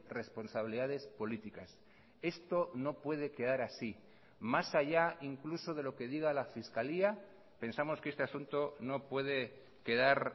responsabilidades políticas esto no puede quedar así más allá incluso de lo que diga la fiscalía pensamos que este asunto no puede quedar